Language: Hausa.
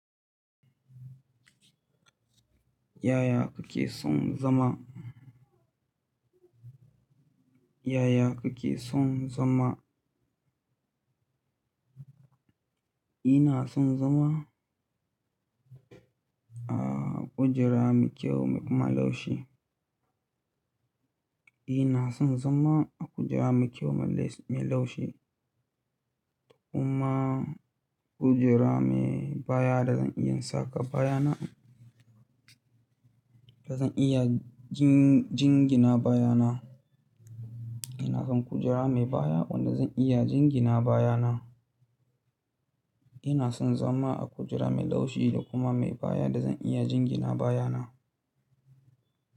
Yaya kuke son zama? Yaya kuke son zama? Ina son zama a kujera mai kyau mai kuma laushi. Ina son zama a kujera mai kyau mai laushi kuma kujera mai baya da zan iya saka baya na, da zan iya jingina baya na. Ina son kujera mai baya wanda zan iya jingina baya na. Ina son zama a kujera mai laushi da kuma mai baya da zan iya jingina baya na.